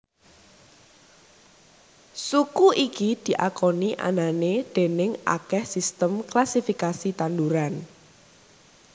Suku iki diakoni anané déning akèh sistem klasifikasi tanduran